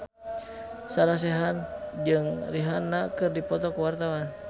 Sarah Sechan jeung Rihanna keur dipoto ku wartawan